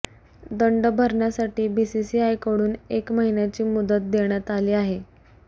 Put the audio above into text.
दंड भरण्यासाठी बीसीसीआयकडून एक महिन्याची मुदत देण्यात आली आहे